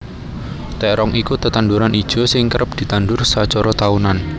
Térong iku tetanduran ijo sing kerep ditandur sacara taunan